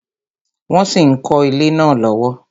Wọn sì ń kọ ilé náà lọ́wọ́